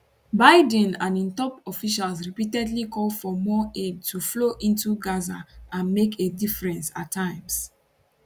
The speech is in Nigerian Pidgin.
biden and im top officials repeatedly call for more aid to flow into gaza and make a difference at times